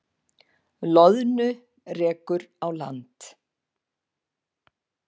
Loðnu rekur á land